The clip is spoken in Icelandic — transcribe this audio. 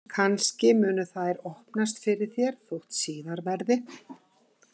Kannski munu þær opnast fyrir þér þótt síðar verði.